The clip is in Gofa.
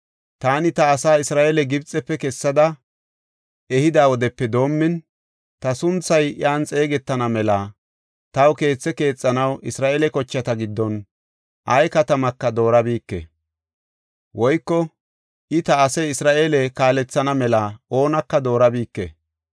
‘Taani ta asaa Isra7eele Gibxefe kessada ehida wodepe doomin, ta sunthay iyan xeegetana mela taw keethe keexanaw Isra7eele kochata giddon ay katamaka doorabike; woyko I ta asaa Isra7eele kaalethana mela oonaka doorabike.